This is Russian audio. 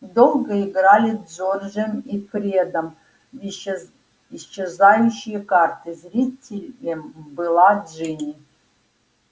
долго играли с джорджем и фредом в исчезающие карты зрителем была джинни